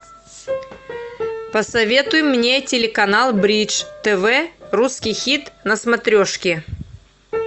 посоветуй мне телеканал бридж тв русский хит на смотрешке